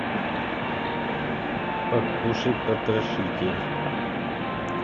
покушай потрошитель